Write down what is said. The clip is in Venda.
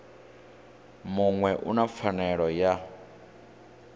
muṅwe u na pfanelo ya